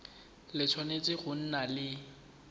le tshwanetse go nna le